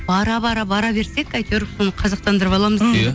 бара бара бара берсек әйтеуір соны қазақтандырып аламыз иә